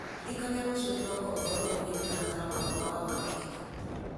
ndirikania rũciũ kĩroko ũhoro ũkoniĩ mũtaratara wakwa wa wakerĩ